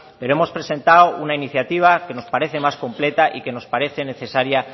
pero hemos presentado una iniciativa que nos parece más completa y que nos parece necesaria